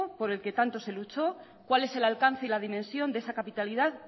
por el que tanto se luchó cuál es el alcance y la dimensión de esa capitalidad